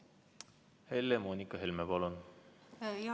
Helle-Moonika Helme, palun!